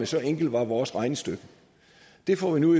så enkelt var vores regnestykke vi får nu